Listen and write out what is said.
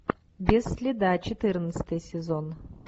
без следа четырнадцатый сезон